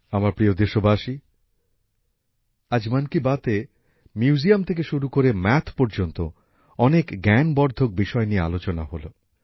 আমার প্রিয় দেশবাসী আজ মন কি বাতে মিউজিয়াম থেকে শুরু করে গণিত পর্যন্ত অনেক জ্ঞানবর্ধক বিষয় নিয়ে আলোচনা হল